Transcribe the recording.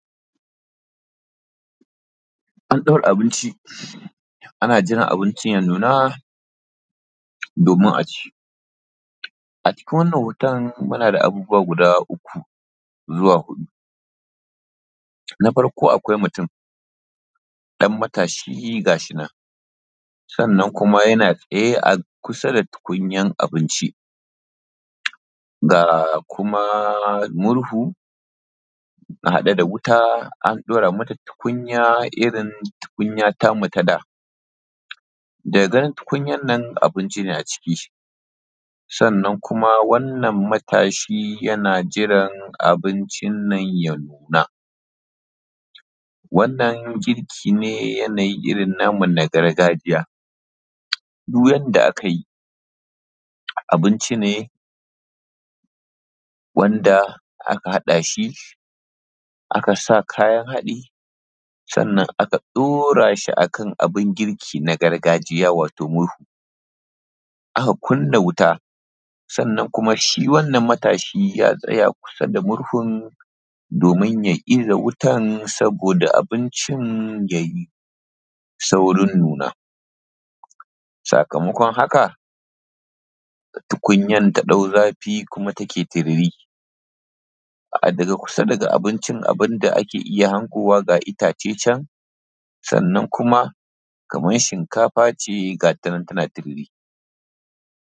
An ɗaura abinci, ana jiran abincin ya nuna domin aci, a cikin wannan hoton muna da abubuwa guda uku zuwa huɗu. Na farko akwai mutum, dan matashi gashi nan, sannan kuma yana tsaye a kusa da tukunyan abinci, da kuma murhu a haɗe da wuta, an ɗora mata tukunya irin tukunya tamu ta da, daga ganin tukunya nan abunci ne a ciki, sannan kuma wannan matashi yana jiran abincin nan ya nuna. Wannan girki ne yanayi irin namu na gargajiya. Duk yadda aka yi, abinci ne wanda aka haɗa shi, aka sa kayan haɗi, sannan aka dora shi akan abin girki na gargajiya wato (murhu)aka kunna wuta, sannan kuma shi wannan matashin ya tsaya kusa da murhun, domin ya iza wutan saboda abincin ya yi saurin nuna. Sakamakon haka tukunyar ta ɗau zafi kuma take tiriri, daga kusa da abincin daga abincin abun da ake iya hangowa ga itace can, sannan kuma kaman shinkafa ce gata nan tana tururi.